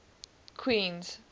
queens